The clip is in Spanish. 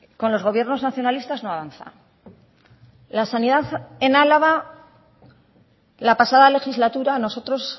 con los gobiernos nacionalistas no avanza la sanidad en álava la pasada legislatura nosotros